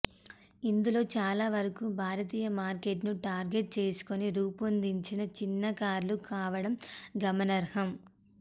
ఇందులో చాలా వరకూ భారతీయ మార్కెట్ ను టార్గెట్ చేసుకుని రూపొందించిన చిన్న కార్లు కావడం గమనార్హం